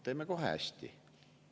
Teeme kohe hästi.